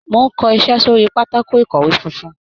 Mò ń kọ iṣẹ́ sórí pátákò ìkọ̀wé fúnfún.